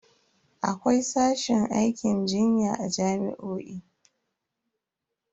Akwai sashin aikin jinya a jami'o'i.